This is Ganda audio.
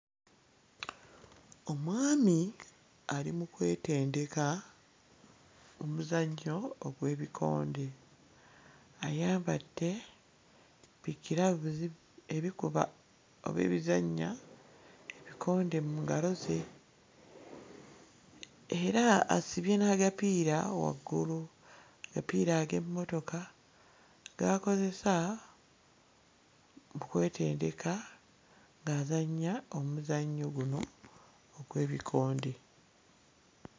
Omwami ali mu kwetendeka omuzannyo ogw'ebikonde, ayambadde bi-ggiravuzi ebikuba oba ebizannya ebikonde mu ngalo ze era asibye n'agapiira waggulu, agapiira ag'emmotoka g'akozesa okwetendeka ng'azannya omuzannyo guno ogw'ebikonde.